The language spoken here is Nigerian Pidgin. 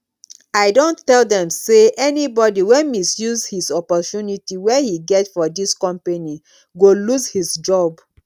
i don tell them say anybody wey misuse his opportunity wey he get for this company go loose his job